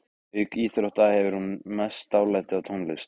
Auk íþrótta hefur hún mest dálæti á tónlist.